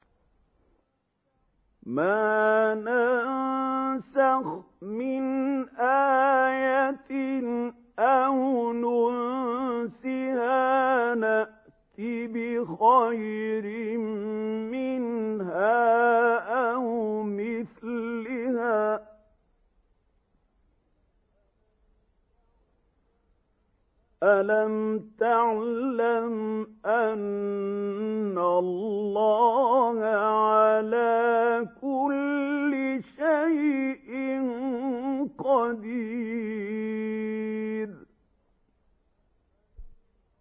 ۞ مَا نَنسَخْ مِنْ آيَةٍ أَوْ نُنسِهَا نَأْتِ بِخَيْرٍ مِّنْهَا أَوْ مِثْلِهَا ۗ أَلَمْ تَعْلَمْ أَنَّ اللَّهَ عَلَىٰ كُلِّ شَيْءٍ قَدِيرٌ